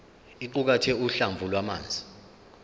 iqukathe uhlamvu lwamazwi